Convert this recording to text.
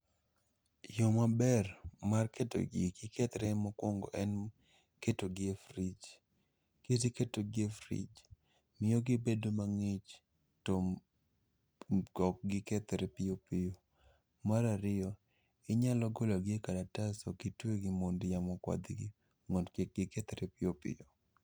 Yo maber mar keto gigi kik kethre mokuongo en ketogi e frij. Kiseketogi e frij, miyo gibet mang'ich to , ok gikethre piyo piyo. Marariyo, inyalo gologi e karatas okitwegi mondo yamo okwadhgi mond kik gikethre piyo piyo.